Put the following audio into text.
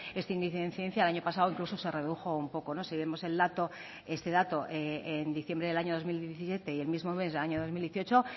este índice de incidencia el año pasado incluso se redujo un poco si vemos el dato y ese dato en diciembre del año dos mil diecisiete y el mismo mes año dos mil dieciocho